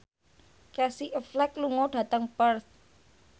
Casey Affleck lunga dhateng Perth